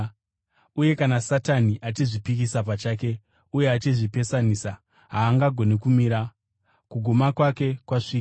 Uye kana Satani achizvipikisa pachake uye achizvipesanisa, haangagoni kumira; kuguma kwake kwasvika.